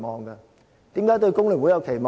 為甚麼對工聯會有期望呢？